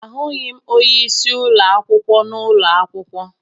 Ahụghị m onyeisi ụlọ akwụkwọ n'ụlọ akwụkwọ.